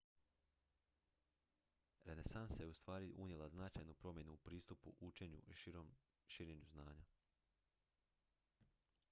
renesansa je ustvari unijela značajnu promjenu u pristupu učenju i širenju znanja